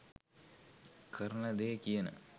කරන දෙය කියන,